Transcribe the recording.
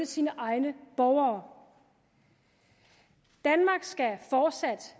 sine egne borgere danmark skal fortsat